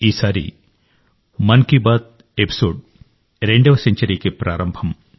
ఈసారి మన్ కీ బాత్ ఎపిసోడ్ 2వ సెంచరీ ప్రారంభం